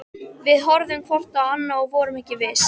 Við horfðum hvort á annað- og vorum ekki viss.